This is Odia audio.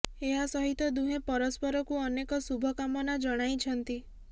ଏହା ସହିତ ଦୁହେଁ ପରସ୍ପରକୁ ଅନେକ ଶୁଭ କାମନା ଜଣାଇଛନ୍ତି